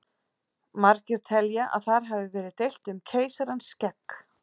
Margir telja að þar hafi verið deilt um keisarans skegg!